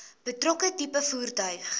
betrokke tipe voertuig